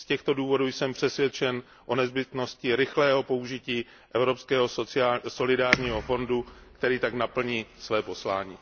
Z těchto důvodů jsem přesvědčen o nezbytnosti rychlého použití Evropského solidárního fondu, který tak naplní své poslání.